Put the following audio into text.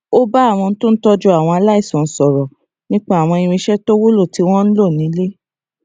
ó bá àwọn tó ń tójú àwọn aláìsàn sòrò nípa àwọn irinṣé tó wúlò tí wón ń lò nílé